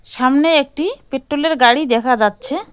সামনে একটি পেট্রোলের গাড়ি দেখা যাচ্ছে।